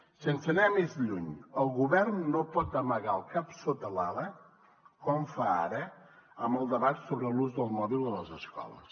sense anar més lluny el govern no pot amagar el cap sota l’ala com fa ara amb el debat sobre l’ús del mòbil a les escoles